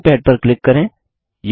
drawing pad पर click करें